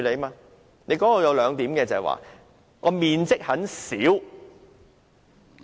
答覆中有兩點，即"面積很小"......